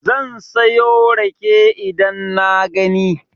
Zan sayo rake idan na gani.